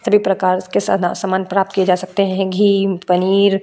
सभी प्रकार के सना समान प्राप्त किया जा सकते हैं घी पनीर --